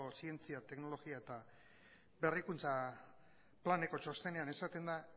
zientzia teknologia eta berrikuntza planeko txostenean esaten da